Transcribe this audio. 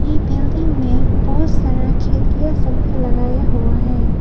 इ बिल्डिंग में बहुत सारा खिड़कियां लगाया हुआ है।